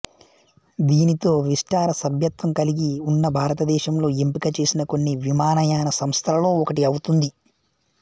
దీనితో విస్టారా సభ్యత్వం కలిగి ఉన్న భారతదేశంలో ఎంపిక చేసిన కొన్ని విమానయాన సంస్థలలో ఒకటి అవుతుంది